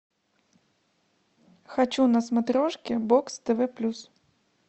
хочу на смотрешке бокс тв плюс